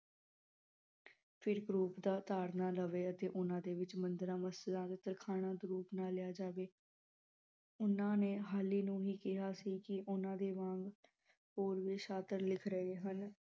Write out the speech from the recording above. ਰੂਪ ਦਾ ਤਾਰਨਾ ਲਵੇ ਅਤੇ ਓਹਨਾ ਦੇ ਵਿਚ ਮੰਦਿਰਾਂ, ਮਸਜਿਦ ਤੇ ਤਰਖਾਣਾ ਦਾ ਰੂਪ ਨਾ ਲਿਆ ਜਾਵੇ ਓਹਨਾ ਨੇ ਹਾਲੀ ਨੂੰ ਕਿਹਾ ਸੀ ਕਿ ਓਹਨਾ ਦੇ ਵਾਂਗ ਹੋਰ ਵੀ ਸਾਸਤ੍ਰ ਲਿਖ ਰਹੇ ਹਨ